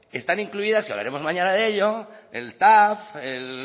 están incluidas y hablaremos mañana de ello el tav el